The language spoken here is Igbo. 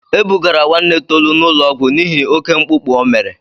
E bugara nwanne Tolu n'ụlọọgwụ n'ihi oke mkpụkpụ o mere.